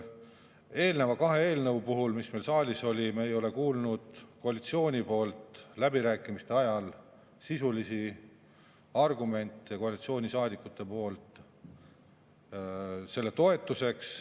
Eelneva kahe eelnõu puhul, mis meil saalis olid, me ei ole kuulnud läbirääkimiste ajal koalitsioonisaadikutelt sisulisi argumente nende toetuseks.